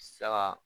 Saga